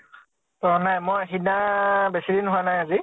অ নাই। মই সিদিনা বেছি দিন হোৱা নাই আজি